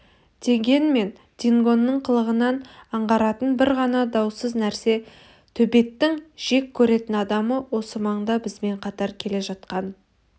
дегенмен дингоның қылығынан аңғаратын бір ғана даусыз нәрсе төбеттің жек көретін адамы осы маңда бізбен қатар келе жатқан